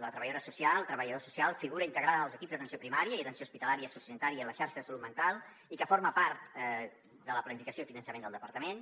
la treballadora social el treballador social figura integrada en els equips d’atenció primària i atenció hospitalària sociosanitària i a la xarxa de salut mental i que forma part de la planificació i finançament del departament